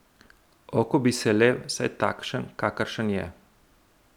Oh, ko bi se le, vsaj takšen, kakršen je.